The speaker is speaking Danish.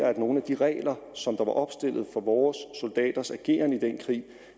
og at nogle af de regler som der var opstillet for vores soldaters ageren i den krig